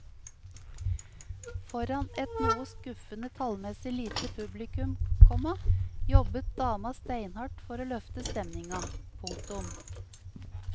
Foran et noe skuffende tallmessig lite publikum, komma jobbet dama steinhardt for å løfte stemninga. punktum